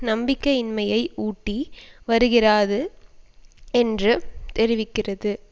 நம்பிக்கையின்மையை ஊட்டி வருகிறாது என்று தெரிவிக்கிறது